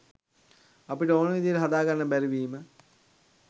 අපිට ඕන විදිහට හදාගන්න බැරි වීම.